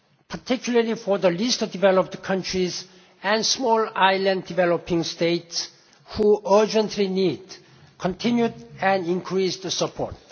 agenda, particularly for the Least Developed Countries and Small Island Developing States, which urgently need continued and increased support.